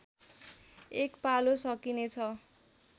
एक पालो सकिनेछ